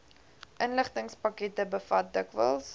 inligtingspakkette bevat dikwels